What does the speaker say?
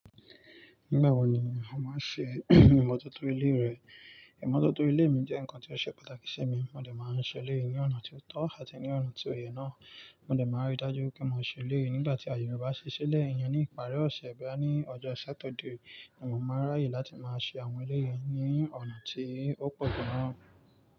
Nígbà wo ni o máa n ṣe ìmọ́tótó ilé rẹ̀? Ìmọ́tótó ilé mi jẹ́ nǹkan tí ó ṣe pàtàkì sí mi. Mo dé máa ń ṣe eléyìí ní ọ̀nà tí ó tọ́ àti ní ọ̀nà tí òye náà. Mo dẹ máa rí dájú pé mo ṣe eleyi nígbà tí àyè yẹn bá ṣi ṣílẹ̀ iyẹn ní ìparí ọ̀sẹ̀, boya ní ọjọ́ Saturday. Mo máa ráyè láti máa ṣe àwọn eleyii ní ọ̀nà tí ó pọ̀ gan.